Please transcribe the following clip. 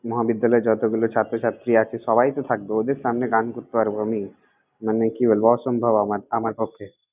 মহাবিদ্যালয়ে যতগুলো ছাত্রছাত্রী আছে, সবাই তো থাকবে। ওদের সামনে গান করতে পারব আমি? মানে কি বলব, অসম্ভব আমার আমার পক্ষে।